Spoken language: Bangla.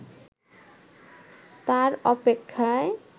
তার অপেক্ষায়